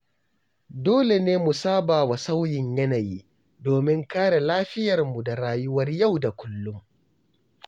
Dole ne mu sabawa sauyin yanayi, domin kare lafiyarmu da rayuwar yau da kullum.